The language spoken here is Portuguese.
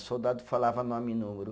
O soldado falava nome e número.